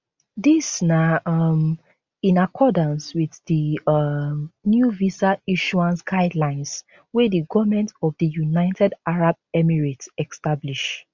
dis na um in accordance wit di um new visa issuance guidelines wey di goment of di united arab emirates establish